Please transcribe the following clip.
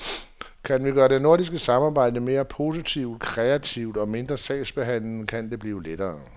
Kan vi gøre nordisk samarbejde mere politisk kreativt og mindre sagsbehandlende, kan det blive lettere.